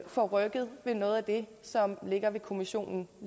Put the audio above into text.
får rykket ved noget af det som ligger ved kommissionen